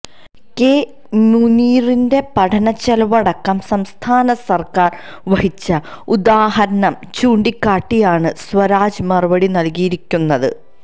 K മുനീറിന്റെ പഠന ചെലവടക്കം സംസ്ഥാന സര്ക്കാര് വഹിച്ച ഉദാഹരണം ചൂണ്ടിക്കാട്ടിയാണ് സ്വരാജ് മറുപടി നല്കിയിരിക്കുന്നത്